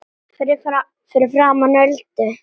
Fyrir framan Öldu.